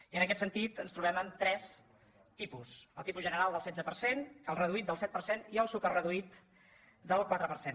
i en aquest sentit ens trobem amb tres tipus el tipus general del setze per cent el reduït del set per cent i el superreduït del quatre per cent